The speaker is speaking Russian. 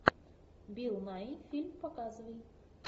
билл найи фильм показывай